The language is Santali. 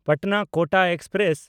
ᱯᱟᱴᱱᱟ–ᱠᱳᱴᱟ ᱮᱠᱥᱯᱨᱮᱥ